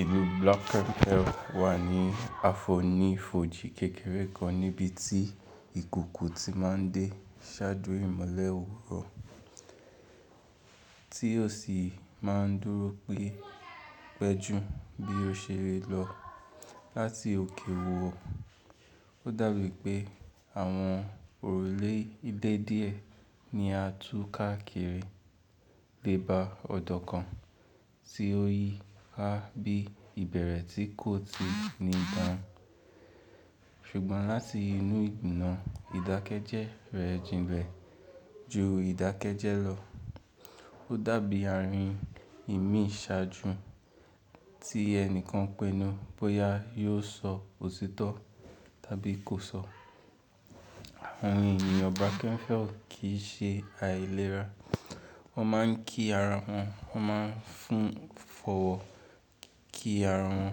Ìlú Birkenau wà ní afọ́nifojì kékeré kan níbi tí ìkùùkuu ti máa ń dé ṣáájú ìmọ̀lẹ̀ òwúrọ̀, tí ó sì máa ń dúró pé péju bí ó ṣe n lọ láti òkè ò. Ó dàbí pé àwọn òrùlé dẹ́dìẹ́ ni a tún káàkiri dé bá ọ̀dọ́ kan tí ó yí ká bí ìbẹ̀rẹ̀ tí kò ti ní bà. Ṣùgbọ́n láti inú ìgbìmon ìdákẹ́jẹ́ rẹ̀ jinlẹ̀ ju ìdákẹ́jẹ́ lọ. Ó dàbí àárín ìmí ṣáájú tí ẹni kan pinnu bóyá yóò sọ òtìtọ́ tàbí kò sọ. Àwọn ènìyàn Birkenau kì í ṣe àìlera. Wọ́n máa ń kí ara wọn, wọ́n máa ń fun fọ̀wọ́ kí ara wọn,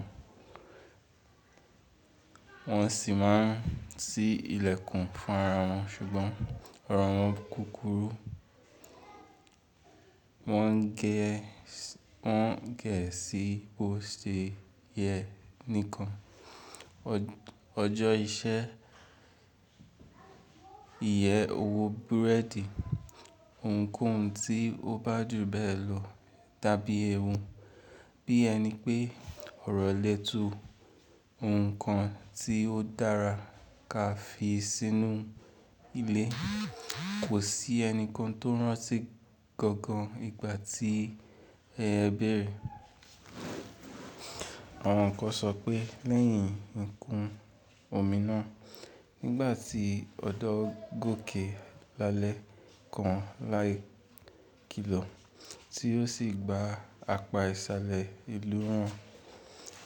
wọ́n sì máa ń ṣí ilẹ̀kùn fún ara wọn. Ṣùgbọ́n ọ̀rọ̀ wọn kúkúrú. Wọ́n gẹ̀ ẹ sí bó ṣe yẹ nìkan. Ọjọ́ iṣẹ́, iye owó búrẹ́dì, ohunkóhun tí ó bá dùn bẹ́ẹ̀ lọ tàbí ewu, bí ẹni pé ọ̀rọ̀ lè tu ohun kan tí ó dára ká fi sínú ilé. Kò sí ẹnikan tó rántí gangan ìgbà tí ẹ bẹ̀rẹ̀. Àwọn kan sọ pé lẹ́yìn ìkún omi náà nígbà tí ọ̀dọ́ gòkè l'álẹ́ kan láì kilọ̀ tí ó sì gba àpá ìsàlẹ̀ ìlú wọn.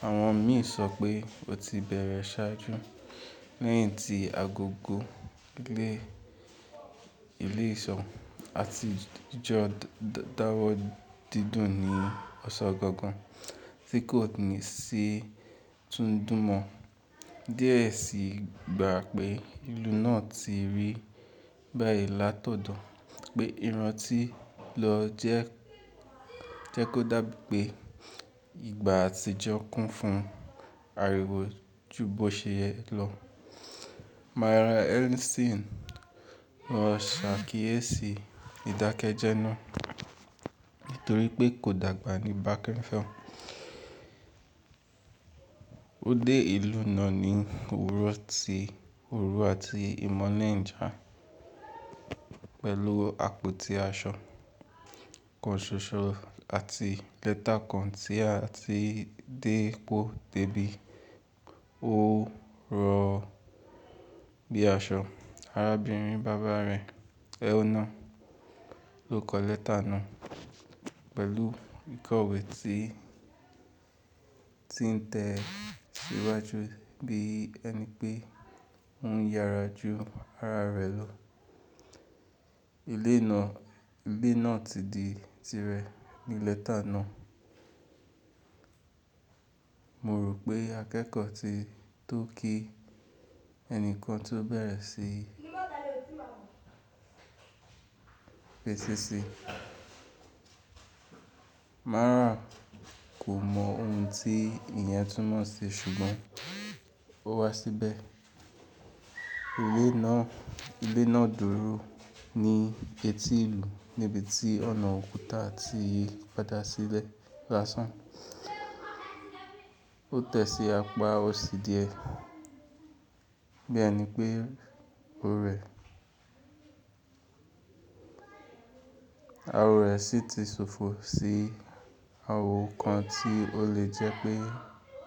Àwọn míì sọ pé ó ti bẹ̀rẹ̀ ṣáájú, lẹ́yìn tí agogo ilé ìsọ̀ àti ìjọ dáwọ́ dídùn ní ọ̀san gangan tí kò tìí sí tún dùn mọ́. Diẹ́ ẹ sì gba pé ìlú náà ti rí báyìí látọ̀dọ̀ pé ìrántí lọ jẹ́ kó dàbí pé ìgbà àtijọ́ kún fún ariwo ju bó ṣe yẹ lọ. Myra Henderson, ọ̀ṣe akíyèsí ìdákẹ́jẹ́ náà nítorí pé kò dàgbà ní Birkenau. Ó dé ìlú náà ní òwúrọ̀ ti òru àti ìmọ̀lẹ̀ njà pẹ̀lú àpótí aṣọ kan ṣoṣo àti lẹ́tà kan tí a ti dé pọ̀ dẹ́bí ó rọ̀ bí i aṣọ. Arábìnrin bàbá rẹ̀, Ena ló kọ lẹ́tà náà pẹ̀lú ìkọ̀wé tí ń tẹ síwájú bí ẹni pé ó ń yára ju ara rẹ̀ lọ. Ilé náà ti di tirẹ̀ ní lẹ́tà náà. Mo rò pé akẹ́kọ̀ọ́ ti tó kí ẹni kan tó bẹ̀rẹ̀ sí fesesi. Mara kò mọ ohun tí iyen tún mọ̀ ṣi ṣùgbọ́n ó wá síbẹ̀. Ilé náà dúró ní etí ìlú níbi tí ọ̀nà òkúta ti padà sílẹ̀ lásán. Ó tẹ sí apá òsì díẹ̀, bí ẹni pé awọ́ rẹ̀ sì ti ṣòfò sí ahòò kan tí ó lè jẹ́ pé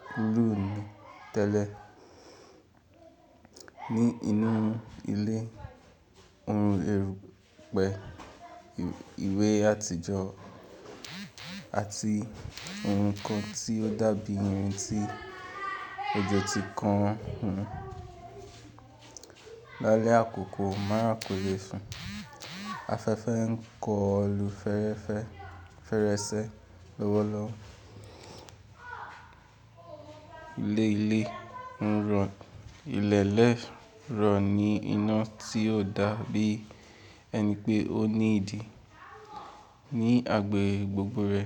kúrú ni tẹ́lẹ̀. Ní inú ilé, òun rí pẹ̀ ìwé àtijọ́ àti ohun kan tí ó dàbí ohun tí òjò ti kan hun. L'álẹ́ àkókọ, Mara kò le sùn. Afẹ́fẹ́ ń kó lu ferefe fèrèsé lọ́wọ́lọ́wọ́. Ilẹ̀lẹ̀ rọ̀ ni iná tí ó dàbí ẹni pé ó ní ìdí ní agbègbè gbogbo rẹ̀.